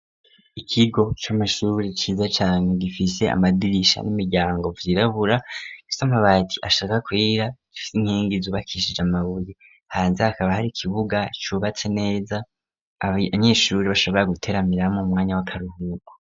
Ikigo c'amasuri ciza cane gifise amadirisha n'imiryango byirabura gisamabati ashaka kuyira gifise inkingi zuba kishije amabuye hanze hakaba hari ikibuga cubatse neza abnyeshuri bashobora guteramiramo umwanya w'akaruhuko.